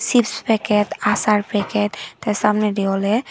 chips packet achar packet te samnedi ole.